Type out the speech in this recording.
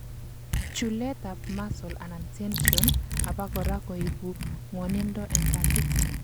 chulet ab muscle anan tension abakora koibu ngwonindo en katit